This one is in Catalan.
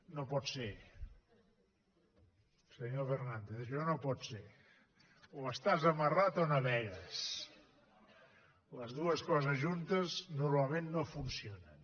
no pot ser senyor fernàndez això no pot ser o estàs amarrat o navegues les dues coses juntes normalment no funcionen